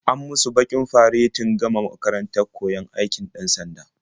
An musu bikin faredin gama makarantar koyon aikin 'dan-sanda.